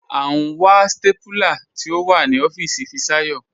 À n wà stápúlà tí o wà ní ọfiisi Fisayo.